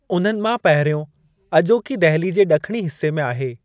उन्हनि मां पहिरियों अॼोकी दहिली जे ॾखणी हिस्से में आहे।